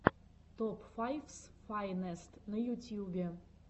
топ файфс файнест на ютьюбе